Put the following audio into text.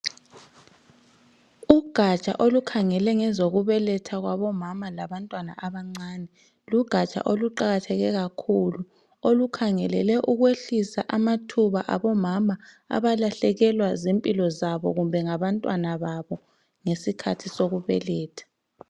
Ugatsha olukhangela ngezokubeletha kwabomama labantwana abancane lugatsha oluqakatheke kakhulu olukhangelele ukwehlisa amathuba abomama abalahlekelwa zimpilo zabo kumbe ngabantwana babo ngesikhathi sokubeletha.